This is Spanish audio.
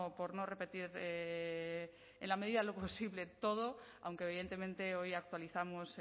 por no repetir en la medida de lo posible todo aunque evidentemente hoy actualizamos